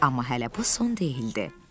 Amma hələ bu son deyildi.